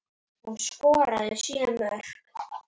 Hún skoraði sjö mörk.